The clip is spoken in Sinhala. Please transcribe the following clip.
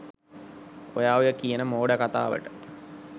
ඔයා ඔය කියන මෝඩ කතාවට